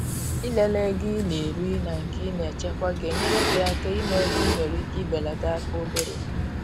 i le le ego i na eri na nke i na echekwa ga enyere gi aka ịma ebe ị nwere ike i belata aka obere.